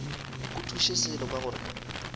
go thuše selo ka gore